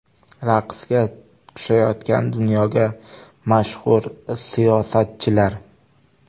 Raqsga tushayotgan dunyoga mashhur siyosatchilar .